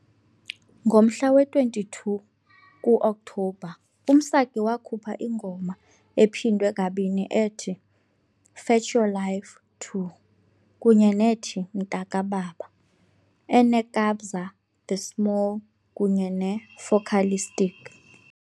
Ngomhla we-22 ku-Okthobha, uMsaki wakhupha ingoma ephindwe kabini ethi "Fetch Your Life II" kunye nethi "Mntakababa" eneKabza De Small kunye neFocalistic .